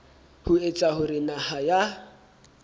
ho etsa hore naha ya